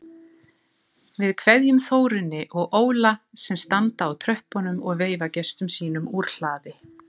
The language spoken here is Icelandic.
Við kveðjum Þórunni og Óla sem standa á tröppunum og veifa gestum sínum úr hlaði.